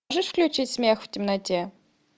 можешь включить смех в темноте